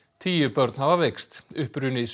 tíu börn hafa veikst uppruni